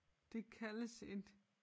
Det kaldes et